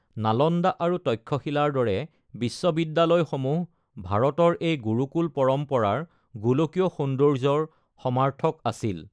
নালন্দা আৰু তক্ষশিলাৰ দৰে বিশ্ববিদ্যালয়সমূহ ভাৰতৰ এই গুৰুকুল পৰম্পৰাৰ গোলকীয় সৌন্দৰ্যৰ সমাৰ্থক আছিল।